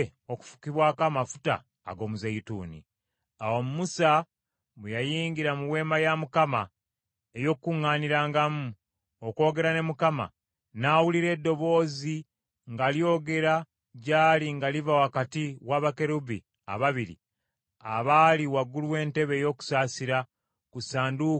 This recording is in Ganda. Awo Musa bwe yayingira mu Weema ey’Okukuŋŋaanirangamu okwogera ne Mukama , n’awulira eddoboozi nga lyogera gy’ali nga liva wakati wa bakerubbi ababiri abali waggulu w’entebe ey’okusaasira eri ku Ssanduuko ey’Endagaano. Bw’atyo Mukama bwe yayogera naye.